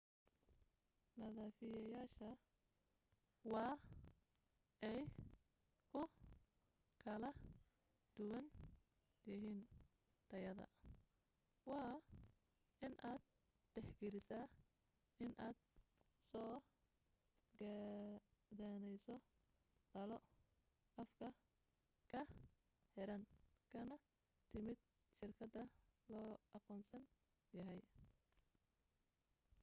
nadiifiyayaasha waa ay ku kal duwan yihiin tayada waa inaad tixgelisaa in aad soo gadaneyso dhalo afka ka xiran kana timid shirkad la aqoonsan yahay